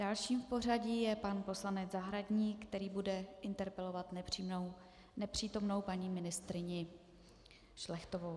Dalším v pořadí je pan poslanec Zahradník, který bude interpelovat nepřítomnou paní ministryni Šlechtovou.